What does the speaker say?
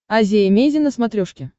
азия эмейзин на смотрешке